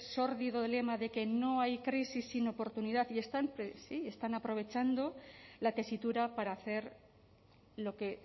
sórdido lema de que no hay crisis sino oportunidad y están aprovechando la tesitura para hacer lo que